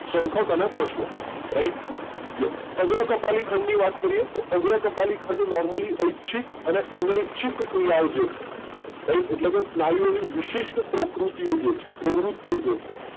શંખક અને પશ્વ right yes અગ્ર કપાલી ખંડ ની વાત કરીએ તો અગ્ર કપાલી ખંડ normally ઐચ્છિક અને અનૈચ્છિક ક્રિયાઓ જે છે right એટલે કે સ્નાયુઓની વિશિષ્ટ પ્રકૃતિઓ જે છે પ્રવૃત્તિઓ જે છે